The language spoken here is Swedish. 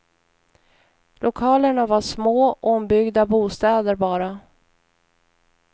Lokalerna var små, ombyggda bostäder bara.